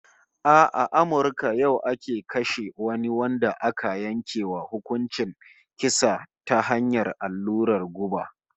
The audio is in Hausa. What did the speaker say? A Amurka yau ake kashe wani wanda aka yanke wa hukuncin kisa ta hanyar allurar guba